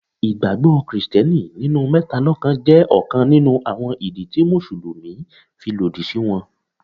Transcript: Ìgbàgbọ́ Kristẹni nínú mẹ́ta lọ́kàn jẹ́ ọ̀kan nínú àwọn ìdí tí Mùsùlùmí fi lòdì sí wọn.